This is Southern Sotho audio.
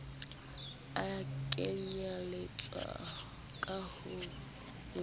a lekanyetsang ka ho ngolla